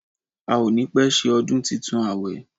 A ò ní pẹ́ ṣe ọdún ìtúnu àwẹ̀